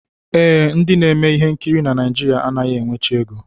Ee, ndị na-eme ihe nkiri na Naijiria anaghị enwecha ego